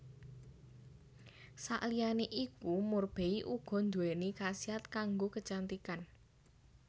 Saliyané iku murbei uga nduwéni khasiat kanggo kecantikan